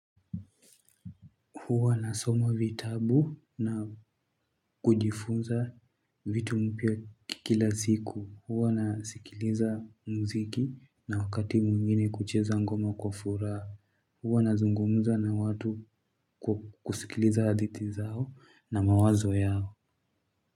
Huwa nasoma vitabu na kujifunza vitu mpya kila ziku. Huwa nasikiliza muziki na wakati mwingine kucheza ngoma kwa furaha. Huwa nazungumza na watu, kusikiliza hadithi zao na mawazo yao.